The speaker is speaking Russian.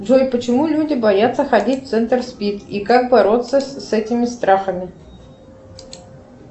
джой почему люди боятся ходить в центр спид и как бороться с этими страхами